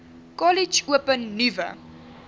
kollege open nuwe